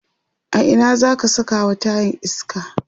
a Ina zaka Saka wa tayan iska?